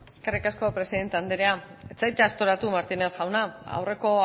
eskerrik asko presidente andrea ez zaitez aztoratu martínez jauna aurreko